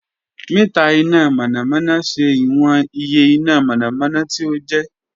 Mita ina mọnamọna ṣe iwọn iye ina mọnamọna ti o jẹ